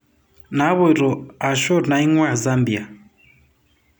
Napoito ashu nainguaa Zambia.